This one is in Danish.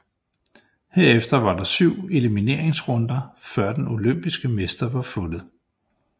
Herefter var der 7 elimineringsrunder før den olympiske mester var fundet